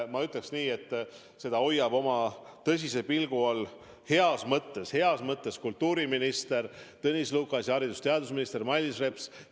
Ja ma ütleksin, et seda hoiavad heas mõttes oma tõsise pilgu all kultuuriminister Tõnis Lukas ja haridus- ja teadusminister Mailis Reps.